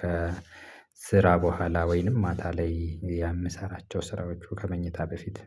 ከ ስራ በኋላ ወይንም ማታ ላይ የምሰራቸው ስራዎቹ ከመኝታ በፊት።